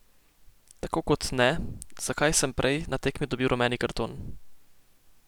Tako kot ne, zakaj sem prej na tekmi dobil rumeni karton.